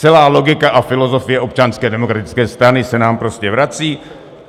Celá logika a filozofie Občanské demokratické strany se nám prostě vrací.